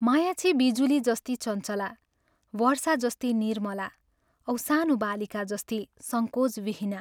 माया छे बिजुली जस्ती चञ्चला, वर्षा जस्ती निर्मला औ सानो बालिका जस्ती संकोचविहीना।